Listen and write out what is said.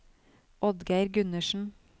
Oddgeir Gundersen